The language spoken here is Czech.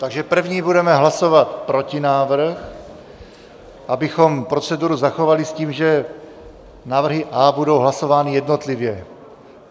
Takže první budeme hlasovat protinávrh, abychom proceduru zachovali s tím, že návrhy A budou hlasovány jednotlivě.